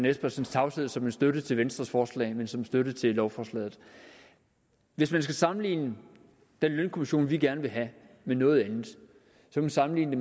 espersens tavshed som en støtte til venstres forslag men som en støtte til lovforslaget hvis man skal sammenligne den lønkommission vi gerne vil have med noget andet kan man sammenligne